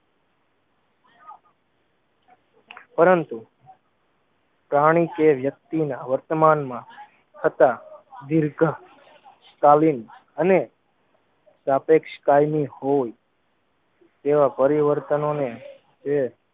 પરંતુ પ્રાણી કે વ્યક્તિના વર્તમાનમાં થતા દીર્ઘ કાલીન અને સાપેક્ષ કાયમી હોય તેવા પરિવર્તનોને એ